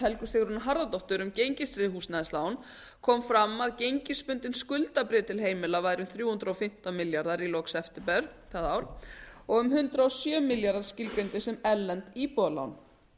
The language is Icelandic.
helgu sigrúnu harðardóttur um gengistryggð húsnæðislán kom fram að gengistryggð skuldabréf til heimila væru þrjú hundruð og fimmtán milljarðar í lok september það ár og um hundrað og sjö milljarðar skilgreindir sem erlend íbúðarlán